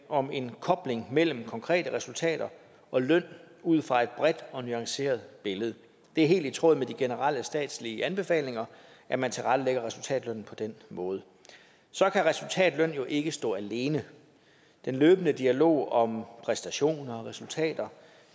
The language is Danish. om en kobling mellem konkrete resultater og løn ud fra et bredt og nuanceret billede det er helt i tråd med de generelle statslige anbefalinger at man tilrettelægger resultatlønnen på den måde resultatløn kan jo ikke stå alene den løbende dialog om præstationer og resultater